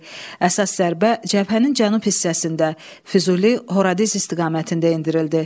Əsas zərbə cəbhənin cənub hissəsində Füzuli Horadiz istiqamətində endirildi.